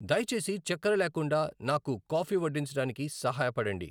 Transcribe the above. దయచేసి చక్కెర లేకుండా నాకు కాఫీ వడ్డించడానికి సహాయపడండి